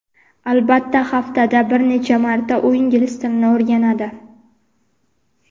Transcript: albatta haftada bir necha marta u ingliz tilini o‘rganadi.